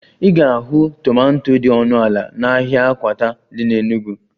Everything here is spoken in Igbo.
Ị ga-ahụ tomanto dị ọnụ ala n'ahịa akwata dị n'Enugwu